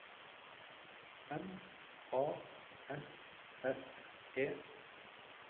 M A S S E